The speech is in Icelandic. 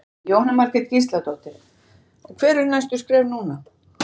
Jóhanna Margrét Gísladóttir: Og hver eru næstu skref núna?